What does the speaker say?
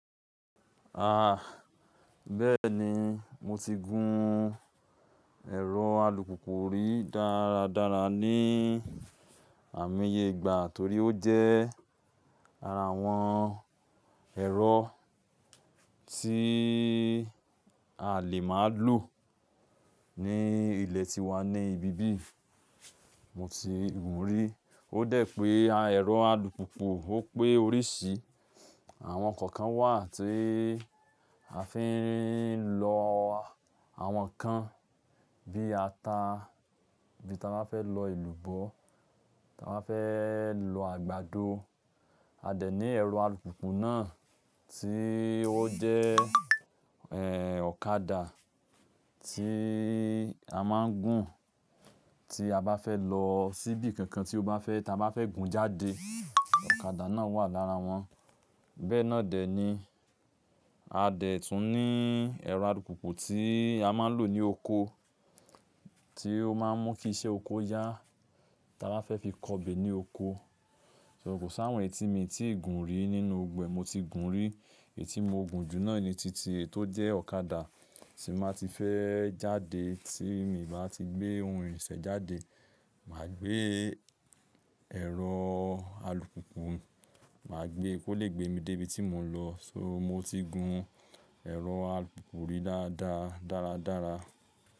A, bẹ́ẹ̀ni, mo ti gun ẹ̀rọ alùpùpù rí dára dára ní àimo yẹ ìgbà torí ó jẹ́ ara àwọn ẹ̀rọ tí a lè máa lò ní ilẹ̀ tiwa ní ibi bí mo ti gùn rí. Ó dẹ̀ pé a ẹ̀rọ alùpùpù ó pé oríṣìí. Àwọn kankan wà tí a fi ń lọ àwọn kan bí ata, bí ta bá fẹ́ lọ elúbọ̀, ta bá fẹ́ lọ àgbàdo. A dè ní ẹ̀rọ alùpùpù náà tí ó jẹ́, ẹ, ọ̀kadà tí a máa ń gùn tí a bá fẹ́ lọ síbi kankan tí ó bá fẹ́, tí a bá fẹ́ gùn jáde, ọ̀kadà náà wà lára wọn. Bẹ́ẹ̀ náà dẹ̀ ni. A dè tún ní ẹ̀rọ alùpùpù tí a máa ń lò ní oko, tí ó máa ń mú kí iṣẹ́ oko yá, tí a bá fẹ́ fi kọbè ní oko. So, ko s’áwọn eyí tí miì gùn rí nínú gbogbo e mo ti gùn rí. Eyíti mo gùn jù náà ni titi è tó jẹ́ ọ̀kadà tí máa ti fẹ́ jáde tí mi bá ti gbé ohun irìnṣẹ́ jáde. Màá gbé ẹ̀rọ alùpùpù, màá gbé kó lè gbé mi dé ibi tí mò ń lọ. So, mo ti gun ẹ̀rọ alùpùpù yí dáa dá, dára dára.